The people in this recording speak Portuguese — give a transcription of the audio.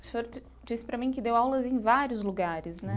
O senhor di disse para mim que deu aulas em vários lugares, né?